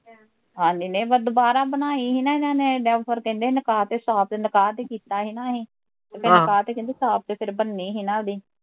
ਹਾਂਜੀ ਨਹੀਂ ਫਿਰ ਦਵਾਰਾਂ ਬਣਾਈ ਸੀ ਨਾ ਇਹਨਾਂ ਨੇ, ਕਹਿੰਦੇ ਸੀ ਫਿਰ ਨਿਕਾਹ ਤੇ ਨਿਕਾਹ ਤੇ ਛਾਪ ਤੇ ਕੀਤਾ ਸੀ ਨਾ ਅਸੀਂ ਤੇ ਫਿਰ ਨਿਕਾਹ ਤੇ ਕਹਿੰਦੇ ਛਾਪ ਤੇ ਫਿਰ ਬਣਨੀ ਸੀ ਨਾ ਓਹਦੀ